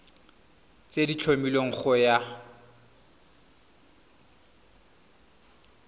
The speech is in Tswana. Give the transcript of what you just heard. tse di tlhomilweng go ya